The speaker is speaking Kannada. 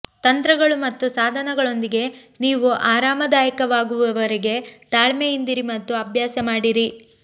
ತಂತ್ರಗಳು ಮತ್ತು ಸಾಧನಗಳೊಂದಿಗೆ ನೀವು ಆರಾಮದಾಯಕವಾಗುವವರೆಗೆ ತಾಳ್ಮೆಯಿಂದಿರಿ ಮತ್ತು ಅಭ್ಯಾಸ ಮಾಡಿರಿ